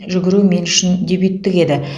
жүгіру мен үшін дебюттік еді